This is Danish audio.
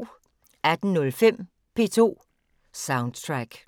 18:05: P2 Soundtrack